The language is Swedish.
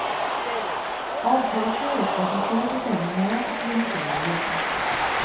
Avtalet går ut på att man själv bestämmer när och hur mycket man vill jobba.